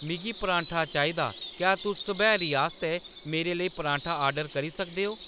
मिगी पराठा चाहिदी क्या तुस सब्हैरी आस्तै मेरे लेई पराठा आर्डर करी सकदे ओ